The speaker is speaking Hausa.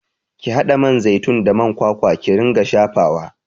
Ki haɗa man zaitun da man kwakwa ki ringa shafawa!